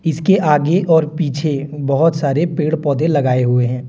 इसके आगे और पीछे बहुत सारे पेड़ पौधे लगाए हुए हैं।